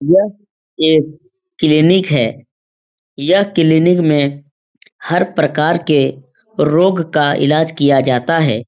यह एक क्लिनिक है। यह क्लिनिक में हर प्रकार के रोग का इलाज किया जाता है।